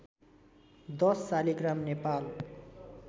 १० Shaligram Nepal